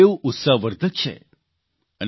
જે સારૂં એવું ઉત્સાહવર્ધક છે